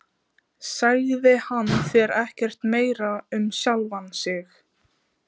Sagði hann þér ekkert meira um sjálfan sig?